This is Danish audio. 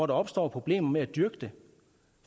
der opstår problemer med at dyrke